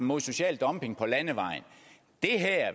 mod social dumping på landevejen